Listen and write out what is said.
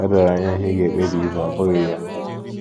O doro anya ihe ị ga - ekpebi ime, ọ́ bụghị ya?